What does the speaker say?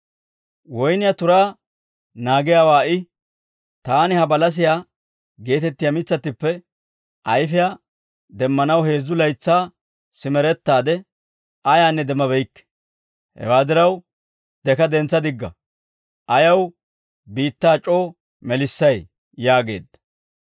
Woynniyaa turaa naagiyaawaa I, ‹Taani ha balasiyaa geetettiyaa mitsattippe ayfiyaa demmanaw heezzu laytsaa simerettaade ayaanne demmabeykke. Hewaa diraw deka dentsa digga; ayaw biittaa c'oo melissay?› yaageedda.